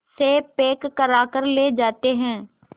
से पैक कराकर ले जाते हैं